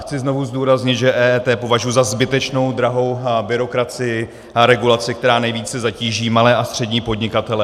Chci znovu zdůraznit, že EET považuji za zbytečnou drahou byrokracii a regulaci, která nejvíce zatíží malé a střední podnikatele.